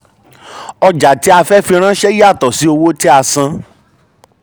ọjà tí a fẹ́ fi ránṣẹ́ yàtọ̀ sí owó um tí a san.